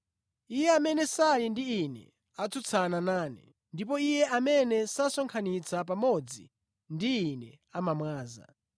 “Iye amene sali ndi Ine atsutsana nane ndipo iye amene sasonkhanitsa pamodzi ndi Ine amamwaza.